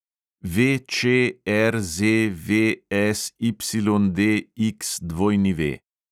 VČRZVSYDXW